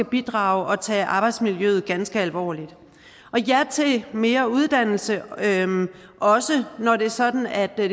bidrager og tager arbejdsmiljøet ganske alvorligt ja til mere uddannelse også når det er sådan at det